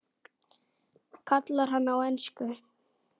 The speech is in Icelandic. kallar hann á ensku.